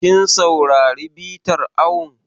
Kin saurari bitar awon?